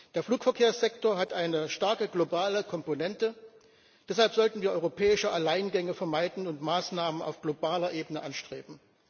Der Flugverkehrssektor hat eine starke globale Komponente, deshalb sollten wir europäische Alleingänge vermeiden und Maßnahmen auf globaler Ebene anstreben.